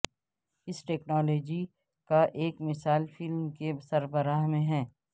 اس technology کا ایک مثال فلم کے سربراہ میں ہے